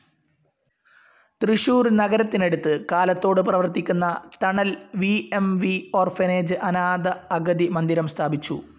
തൃശൂർ നഗരത്തിനടുത്ത് കാലത്തോട് പ്രവർത്തിക്കുന്ന Thanal V M V orphanage അനാഥ അഗതി മന്ദിരം സ്ഥാപിച്ചു.